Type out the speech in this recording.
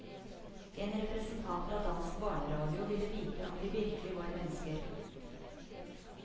En representant fra dansk barneradio ville vite om de virkelig var mennesker.